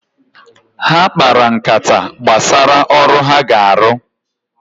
Ha kpara nkata gbasara ọrụ ha ga-arụ